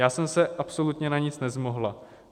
Já jsem se absolutně na nic nezmohla.